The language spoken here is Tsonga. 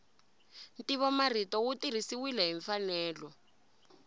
ntivomarito wu tirhisiwile hi mfanelo